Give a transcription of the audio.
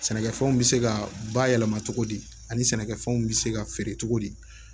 Sɛnɛkɛfɛnw bɛ se ka bayɛlɛma cogo di ani sɛnɛkɛfɛnw bɛ se ka feere cogo di